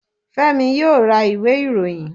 Fẹ́mi yóò ra ìwé ìròyìn